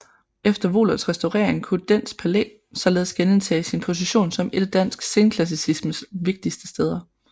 Efter Wohlerts restaurering kunne Dehns Palæ således genindtage sin position som et af dansk senklassicismes vigtigste steder